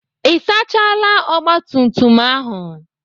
Ị sachaala ogbatumtum ahụ?